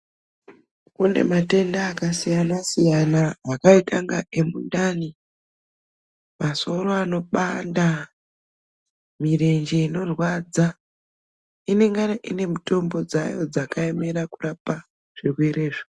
Kune matenda akasiyana siyana akaita kunga emundani, masoro anobanda, mirenje inorwadza, inenge ine mitombo dzayo dzakaemera kurapa zvirwere izvo.